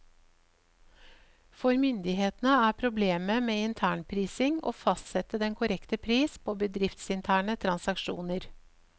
For myndighetene er problemet med internprising å fastsette den korrekte pris på bedriftsinterne transaksjoner.